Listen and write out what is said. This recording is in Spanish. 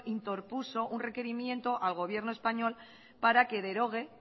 interpuso un requerimiento al gobierno español para que derogue